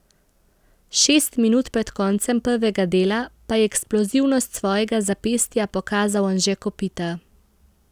Šest minut pred koncem prvega dela pa je eksplozivnost svojega zapestja pokazal Anže Kopitar.